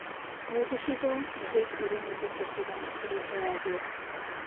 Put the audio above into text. O gĩcigo nĩ gĩkũĩrwo nĩ mbeca cigana kĩrĩheagwo